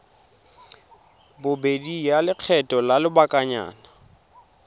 bobedi ya lekgetho la lobakanyana